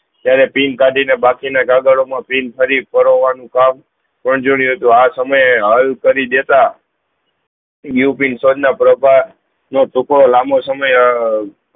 ત્યારેં pin કાઢી ને બાકી ના ગદાડો મા પીન ફરી ઓરન્વ્ન ભાગ આ સમય હલ કરી દેતા ઉપીન સ્વ નો પ્રભાત નો ટુકડો લાંબો સમયે